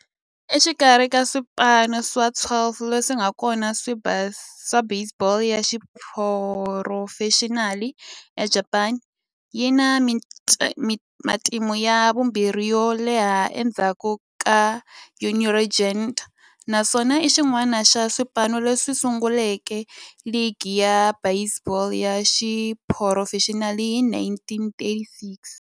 Exikarhi ka swipano swa 12 leswi nga kona swa baseball ya xiphurofexinali eJapani, yi na matimu ya vumbirhi yo leha endzhaku ka Yomiuri Giants, naswona i xin'wana xa swipano leswi sunguleke ligi ya baseball ya xiphurofexinali hi 1936.